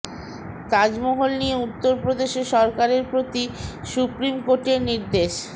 তাজমহল নিয়ে উত্তর প্রদেশে সরকারের প্রতি সুপ্রিম কোর্টের নির্দেশ